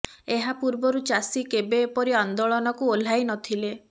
ଏହା ପୂର୍ବରୁ ଚାଷୀ କେବେ ଏପରି ଆନ୍ଦୋଳନକୁ ଓହ୍ଲାଇ ନଥିଲେ